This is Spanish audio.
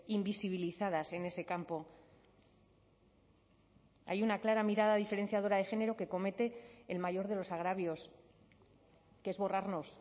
invisibilizadas en ese campo hay una clara mirada diferenciadora de género que comete el mayor de los agravios que es borrarnos